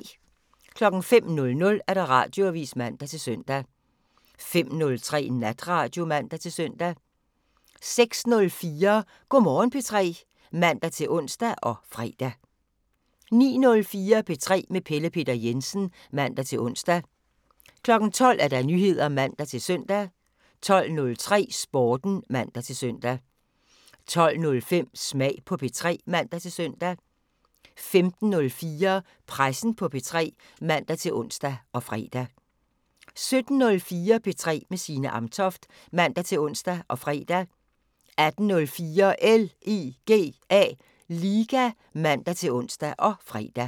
05:00: Radioavisen (man-søn) 05:03: Natradio (man-søn) 06:04: Go' Morgen P3 (man-ons og fre) 09:04: P3 med Pelle Peter Jensen (man-ons) 12:00: Nyheder (man-søn) 12:03: Sporten (man-søn) 12:05: Smag på P3 (man-søn) 15:04: Pressen på P3 (man-ons og fre) 17:04: P3 med Signe Amtoft (man-ons og fre) 18:04: LIGA (man-ons og fre)